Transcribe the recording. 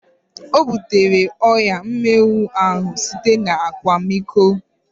Ọ butere ọrịa mminwụ ahu site na akwamiko